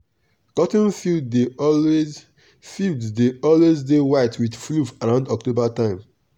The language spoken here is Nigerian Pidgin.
cotton field dey always field dey always dey white with fluff around october time.